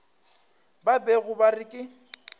ba bego ba re ke